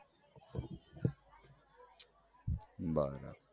બરાબર